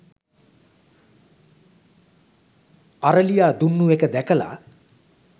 අරලියා දුන්නු එක දැකලා